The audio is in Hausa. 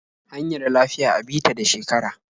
Hanyar lafiya a bi ta da shekara.